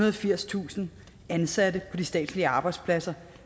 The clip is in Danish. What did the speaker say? og firstusind ansatte på de statslige arbejdspladser